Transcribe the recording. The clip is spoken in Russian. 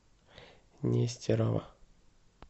нестерова